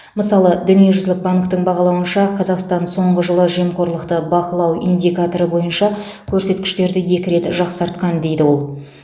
мысалы дүниежүзілік банктің бағалауынша қазақстан соңғы жылы жемқорлықты бақылау индикаторы бойынша көрсеткіштерді екі рет жақсартқан дейді ол